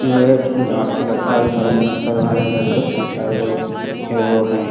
जिसमें बांस की लगता है अभी मरम्मत करवा रहा है घर को तीन चारगो एगो हैं।